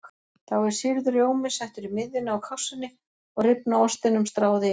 Þá er sýrður rjómi settur í miðjuna á kássunni og rifna ostinum stráð yfir.